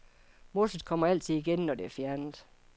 Mosset kommer altid igen, når det er fjernet.